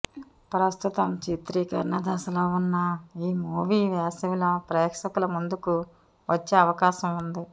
ప్రస్తుతం చిత్రీకరణ దశలో ఉన్న ఈ మూవీ వేసవిలో ప్రేక్షకుల ముందుకు వచ్చే అవకాశం ఉంది